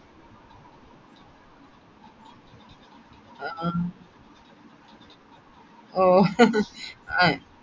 ആ ആ ഓ ആ